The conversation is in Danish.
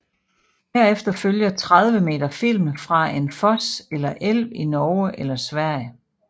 Herefter følger 30 meter film fra en fos eller elv i Norge eller Sverige